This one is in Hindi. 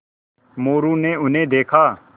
मोरू ने उन्हें देखा